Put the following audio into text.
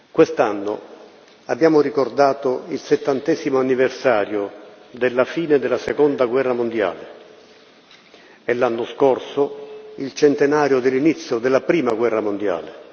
Quest'anno abbiamo ricordato il settantesimo anniversario della fine della Seconda guerra mondiale e, l'anno scorso, il centenario dell'inizio della Prima guerra mondiale.